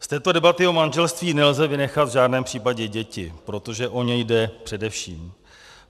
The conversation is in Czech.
Z této debaty o manželství nelze vynechat v žádném případě děti, protože o ně jde především.